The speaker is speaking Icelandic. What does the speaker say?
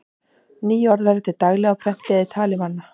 Ný orð verða til daglega á prenti eða í tali manna.